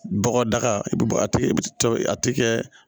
Bɔgɔdaga i bi bɔ a tigɛ a ti kɛ